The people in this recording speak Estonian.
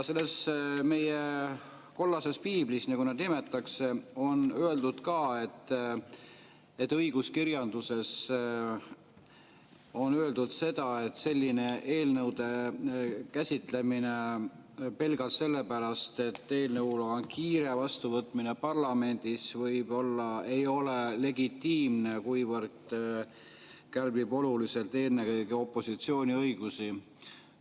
Selles meie kollases piiblis, nagu seda nimetatakse, on öeldud, et õiguskirjanduses on öeldud seda, et selline eelnõude käsitlemine pelgalt sellepärast, et eelnõuga on kiire, ja nende vastuvõtmine parlamendis võib-olla ei ole legitiimne, kuivõrd kärbib oluliselt ennekõike opositsiooni õigusi.